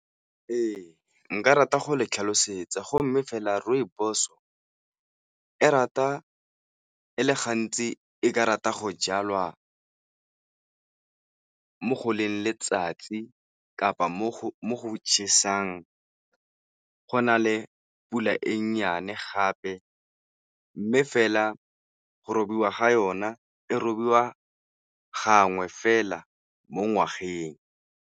Ee, nka rata go le tlhalosetsa go mme fela Rooibos-o e le gantsi e ka rata go jalwa mo go leng letsatsi kapa mo go chesang, go na le pula e nnyane gape mme fela go robiwa ga yona e robiwa gangwe fela mo ngwageng.